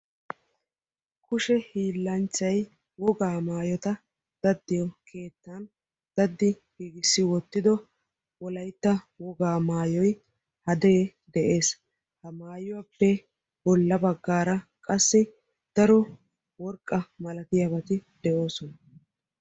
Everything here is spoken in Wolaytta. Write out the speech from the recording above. Kushe hiilanchchay wogaa maayota daddiyo keettan daddi giigissi wottido Wolaytta woga maayyoy hadee de'ees; ha maayuwappe bolla baggara daro lo''idi worqqa malatiyaabati beettoosona.